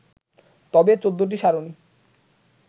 তবে ১৪টি সারণি